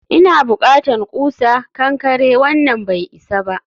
ina bukatan ƙusa kankare, wannan bai isa ba